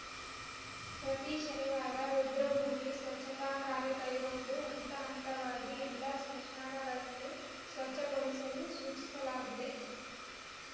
ಪ್ರತೀ ಶನಿವಾರ ರುದ್ರಭೂಮಿ ಸ್ವಚ್ಛತಾ ಕಾರ್ಯ ಕೈಗೊಂಡು ಹಂತ ಹಂತವಾಗಿ ಎಲ್ಲ ಸ್ಮಶಾನಗಳನ್ನೂ ಸ್ವಚ್ಛಗೊಳಿಸಲು ಸೂಚಿಸಲಾಗಿದೆ